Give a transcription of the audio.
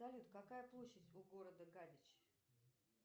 салют какая площадь у города гадяч